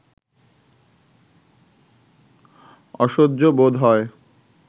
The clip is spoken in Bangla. অসহ্য বোধ হয়